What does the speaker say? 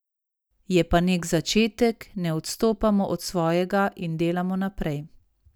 Je pa nek začetek, ne odstopamo od svojega in delamo naprej.